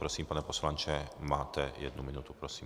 Prosím, pane poslanče, máte jednu minutu, prosím.